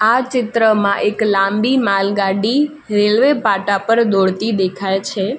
આ ચિત્રમાં એક લાંબી માલગાડી રેલ્વે પાટા પર દોડતી દેખાય છે.